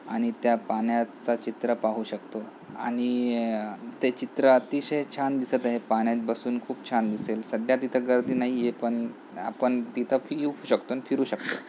आणि त्या पाण्याचा चित्र पाहू शकतो आणि य-य ते चित्र अतिशय छान दिसत आहे पाण्यात बसून खूप छान दिसेल तिथे गर्दी नाहीये पण आपण पिऊ शकतो आणि फिरू शकतो.